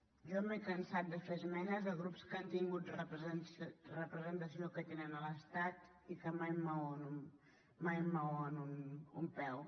jo m’he cansat de fer esmenes a grups que han tingut representació que en tenen a l’estat i que mai mouen un peu